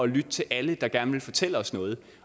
lytte til alle der gerne vil fortælle os noget